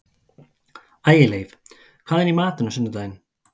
Ægileif, hvað er í matinn á sunnudaginn?